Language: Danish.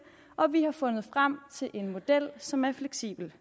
og vi har fundet frem til en model som er fleksibelt